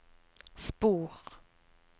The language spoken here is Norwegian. spor